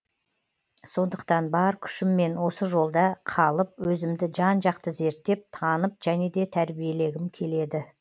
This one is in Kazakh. сондықтан бар күшіммен осы жолда қалып өзімді жан жақты зерттеп танып және де тәрбиелегім келеді